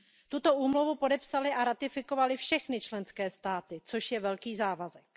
Tuto úmluvu podepsaly a ratifikovaly všechny členské státy, což je velký závazek.